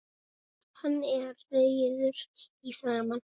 Hann er rauður í framan.